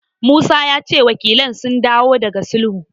Musa ya ce wakilan sun dawo daga sulhun.